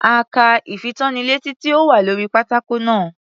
A ka ìfitónilétí tí ó wà lórí pátákó náà.